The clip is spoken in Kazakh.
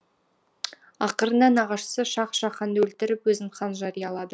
ақырында нағашысы шах жаһанды өлтіріп өзін хан жариялады